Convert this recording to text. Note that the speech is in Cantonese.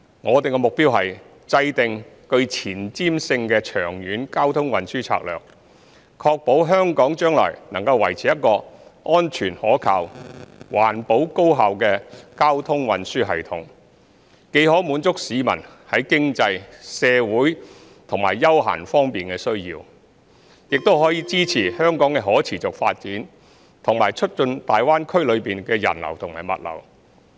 我們目標是制訂具前瞻性的長遠交通運輸策略，確保香港將來能維持一個安全可靠、環保高效的交通運輸系統，既可滿足市民在經濟、社會和休閒方面的需要，亦可支持香港的可持續發展，以及促進大灣區內的人流和物流。